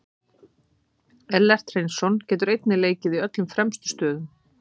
Ellert Hreinsson getur einnig leikið í öllum fremstu stöðunum.